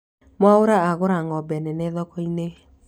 Mwaura agũra ng'ombe nene thoko-inĩ